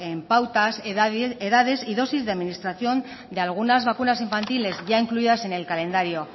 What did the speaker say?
en pautas edades y dosis de administración de algunas vacunas infantiles ya incluidas en el calendario